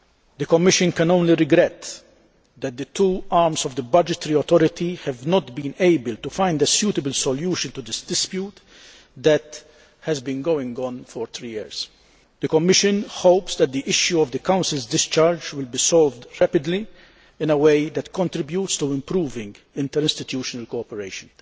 The Commission can only regret that the two arms of the budgetary authority have not been able to find a suitable solution to this dispute that has been going on for three years. The Commission hopes that the issue of the Council's discharge will be solved rapidly in a way that contributes to improving interinstitutional cooperation.